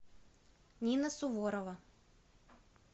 нина суворова